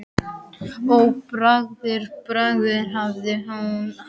Ó, Boðberi, Boðberi hæðir hún hann.